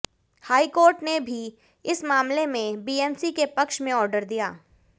high court ने भी इस मामले में बीएमसी के पक्ष में ऑर्डर दिया